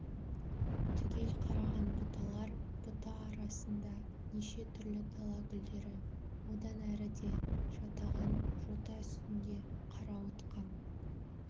түгел қараған бұталар бұта арасында неше түрлі дала гүлдері одан әріде жатаған жота үстінде қарауытқан